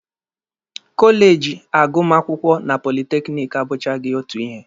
Kọleji agụmakwụkwọ na politekiniki abụchaghị otu ihe